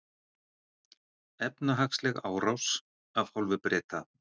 Efnahagsleg árás af hálfu Breta